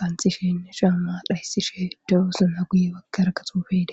qanxishenne caama dhaysishe de'iossonna guye baggarakka tuuqey dees